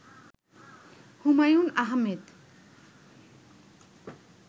Humayun Ahmed